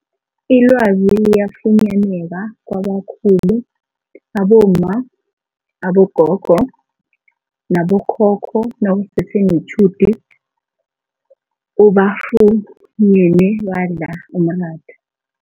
Ilwazi liyafunyaneka kwabakhulu abomma, abogogo nabo khokho nawusese netjhudu ubafunyene badla umratha.